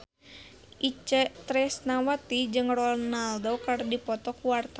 Itje Tresnawati jeung Ronaldo keur dipoto ku wartawan